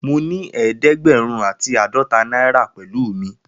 Mo ni eedegberun ati aadọta náírà pẹlu mi.